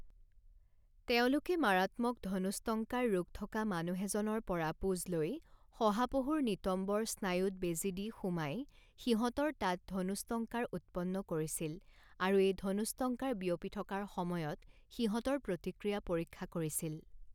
তেওঁলোকে মাৰাত্মক ধনুষ্টংকাৰ ৰোগ থকা মানুহ এজনৰ পৰা পূঁজ লৈ শহাপহুৰ নিতম্বৰ স্নায়ুত বেজী দি সুমাই সিহঁতৰ তাত ধনুষ্টংকাৰ উৎপন্ন কৰিছিল আৰু এই ধনুষ্টংকাৰ বিয়পি থকাৰ সময়ত সিহঁতৰ প্ৰতিক্ৰিয়া পৰীক্ষা কৰিছিল।